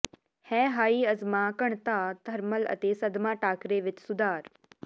ਹੈ ਹਾਈ ਅਜਮਾ ਘਣਤਾ ਥਰਮਲ ਅਤੇ ਸਦਮਾ ਟਾਕਰੇ ਵਿੱਚ ਸੁਧਾਰ